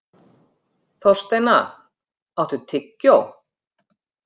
Þorsteina, áttu tyggjó?